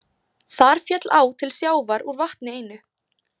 Þar féll á til sjávar úr vatni einu.